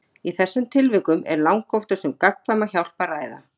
Í þessum tilvikum er langoftast um gagnkvæma hjálp að ræða.